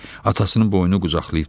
Atasının boynu qucaqlayıb dedi: